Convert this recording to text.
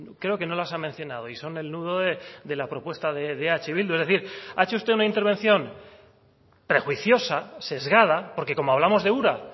creo que no las ha mencionado y son el nudo de la propuesta de eh bildu es decir ha hecho usted una intervención prejuiciosa sesgada porque como hablamos de ura